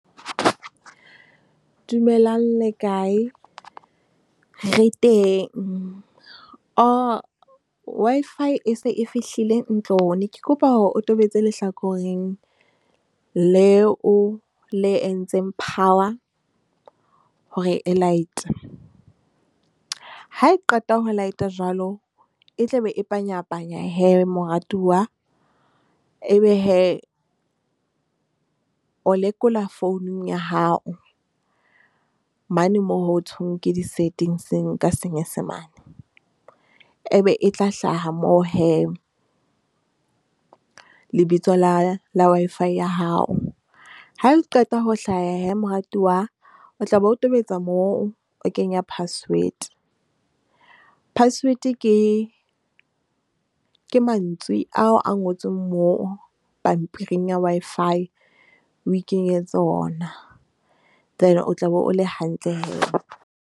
Dumelang le kae? Re teng Wi-Fi e se e fihlile ntlong. Ne ke kopa hore o tobetse lehlakoreng leo le entseng power hore e light. Ha e qeta ho light-a jwalo e tlabe e panyapanya hee moratuwa. E be hee o lekola founung ya hao mane moo ho thweng ke di-settings ka Senyesemane e be e tla hlaha moo hee. Lebitso la la Wi-Fi ya hao ha le qeta ho hlaha hee. Moratuwa o tlabe o tobetsa moo, o kenya password. Password ke mantswe ao a ngotsweng moo pampiring ya Wi-Fi, o ikenyetse ona then o tlabe o le hantle hee.